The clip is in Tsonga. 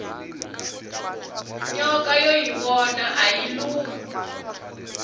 nyoka yo yivona ayi lumi